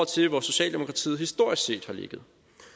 til hvor socialdemokratiet historisk set har ligget